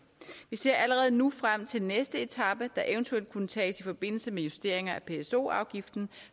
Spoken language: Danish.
ser allerede nu frem til næste etape der eventuelt kunne tages i forbindelse med justeringer af pso afgiften